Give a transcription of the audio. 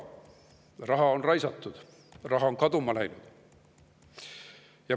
Raha on raisatud, raha on kaduma läinud.